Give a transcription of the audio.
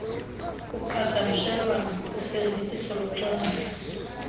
kuqhagamshelwano kufezekiso locwangciso